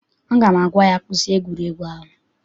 Aga m agwa ya, kwụsị egwuregwu ahụ!